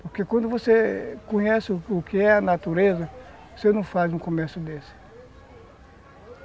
Porque quando você conhece o que é a natureza, você não faz um comércio desse.